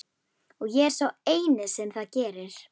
Og ég er sá eini sem það gerir.